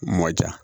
Mɔ ja